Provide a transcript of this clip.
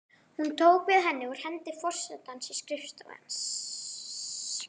Hún tók við henni úr hendi forsetans í skrifstofu hans.